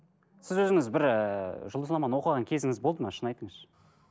сіз өзіңіз бір ііі жұлдызнаманы оқыған кезіңіз болды ма шын айтыңызшы